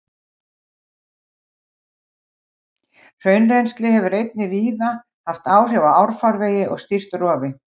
Hraunrennsli hefur einnig víða haft áhrif á árfarvegi og stýrt rofi.